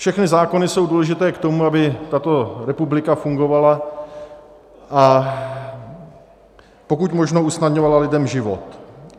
Všechny zákony jsou důležité k tomu, aby tato republika fungovala a pokud možno usnadňovala lidem život.